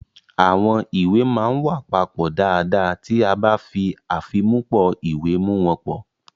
Àwọn ìwé máa ń wà papọ̀ dáadáa ti a ba fi afimupo iwe mu won po.